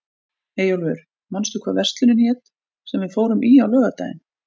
Eyjólfur, manstu hvað verslunin hét sem við fórum í á laugardaginn?